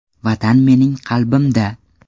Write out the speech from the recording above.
Vatan mening qalbimda!